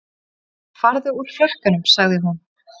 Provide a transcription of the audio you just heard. Farðu úr frakkanum sagði hún.